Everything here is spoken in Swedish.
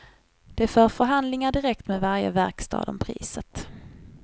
De för förhandlingar direkt med varje verkstad om priset.